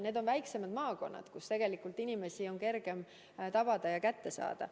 Need on väiksemad maakonnad, kus inimesi on kergem kätte saada.